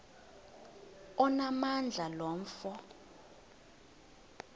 onamandla lo mfo